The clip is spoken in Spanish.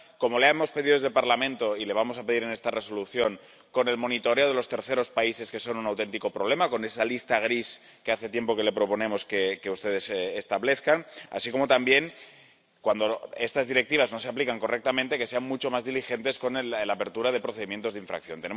Como le hemos pedido a este Parlamento y le vamos a pedir en esta Resolución, con el monitoreo de los terceros países que son un auténtico problema, con esa lista gris que hace tiempo que proponemos que ustedes establezcan, así como también, cuando estas Directivas no se aplican correctamente, que sean mucho más diligentes con la apertura de procedimientos de infracción.